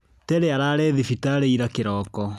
Terry ararĩ thibitarĩ ira kĩroko.